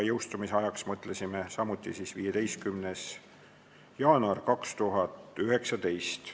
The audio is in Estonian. Jõustumise ajaks mõtlesime samuti panna 15. jaanuari 2019.